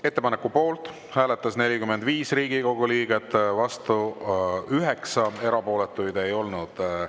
Ettepaneku poolt hääletas 45 Riigikogu liiget, vastu oli 9, erapooletuid ei olnud.